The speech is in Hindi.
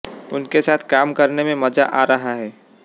उनके साथ काम करने में मजा आ रहा है